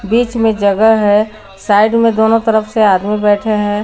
बीच में जगह है साइड में दोनों तरफ से आदमी बैठे हैं।